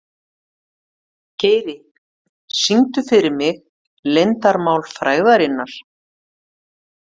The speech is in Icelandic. Geiri, syngdu fyrir mig „Leyndarmál frægðarinnar“.